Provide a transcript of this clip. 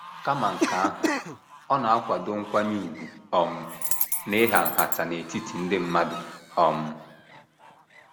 Kama nke ahụ, ọ na - akwado nkwanye ùgwù um na ịhà nhata n’etiti ndị mmadụ. um